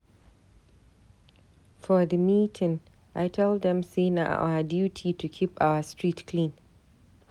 For di meeting, I tell dem sey na our duty to keep our street clean.